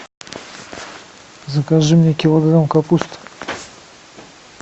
закажи мне килограмм капусты